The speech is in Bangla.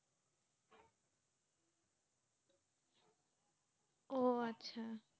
ও আচ্ছা।